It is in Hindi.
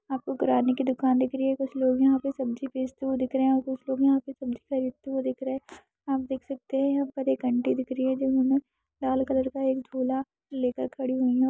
आपको किराणे की दुकान दिख रही है कुछ लोग यहाँ पे सब्जी बेचते हुए दिख रहे है कुछ लोग यहाँ पे सब्जी खरीदते हुए दिख रहे है आप देख सकते है यहाँ पर एक आंटी दिख रही है हम लाल कलर का एक झोला लेकर खड़ी है।